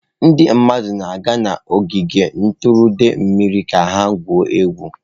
Ndị mmadụ na-aga n'ogige ntụrụndụ mmiri ka ha gwuo egwu.